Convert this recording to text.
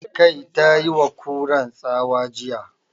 "Kai"! Ta yi wa Kuran tsawa jiya